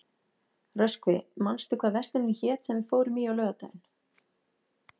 Röskvi, manstu hvað verslunin hét sem við fórum í á laugardaginn?